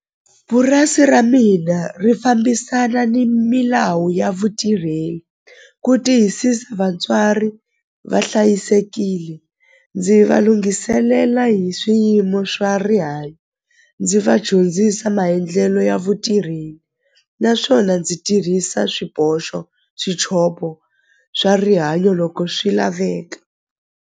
Purasi ra mina ri fambisana ni milawu ya vutirheli ku tiyisisa vatswari va hlayisekile ndzi va lunghiselela hi swiyimo swa rihanyo ndzi va dyondzisa maendlelo ya naswona ndzi tirhisa swiboxo swa rihanyo loko swi laveka.